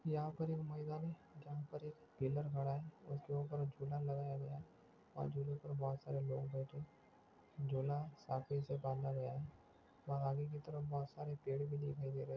यहाँ पर एक मैदान जहाँ पर एक पिलर गडा है उसके उप्पर झूला लगाया गया और झूले पर बहुत सारे लोग बैठे झूला साफी से बंधा गया है वहाँ आगे की तरफ बहुत सारे पेड़ भी दिखाई दे रहे है।